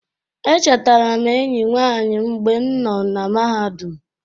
Echetara m enyi nwanyị m mgbe m nọ na mahadum.